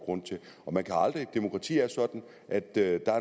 grund til demokrati er sådan at der er